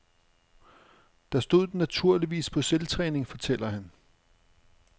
Der stod den naturligvis på selvtræning, fortæller han.